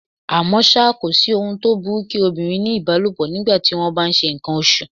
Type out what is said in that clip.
À mọ́ ṣá, kòsí ohun tó burú kí obìnrin ní ìbálòpọ̀ ní ìgbà tí wón bá ńṣe ǹkan oṣù.